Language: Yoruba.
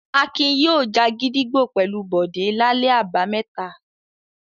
Akin yóò já gídígbò pẹ̀lú Bọ̀dé lálẹ́ àbámẹ́ta.